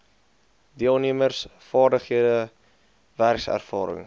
deelnemers vaardighede werkservaring